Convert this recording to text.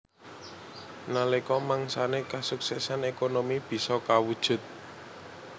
Nalika mangsané kasuksesan ékonomi bisa kawujud